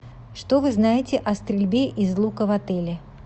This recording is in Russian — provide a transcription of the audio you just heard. что вы знаете о стрельбе из лука в отеле